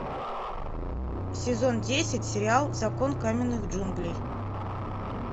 сезон десять сериал закон каменных джунглей